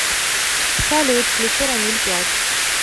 салют включи рамиль плачь